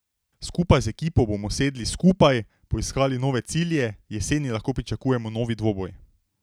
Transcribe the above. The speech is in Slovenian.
Skupaj z ekipo bomo sedli skupaj, poiskali nove cilje, jeseni lahko pričakujemo novi dvoboj.